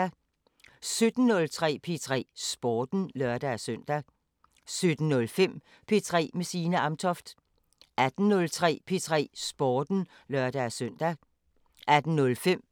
17:03: P3 Sporten (lør-søn) 17:05: P3 med Signe Amtoft 18:03: P3 Sporten (lør-søn) 18:05: